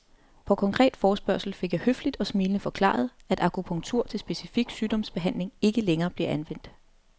På konkret forespørgsel fik jeg høfligt og smilende forklaret, at akupunktur til specifik sygdomsbehandling ikke længere blev anvendt.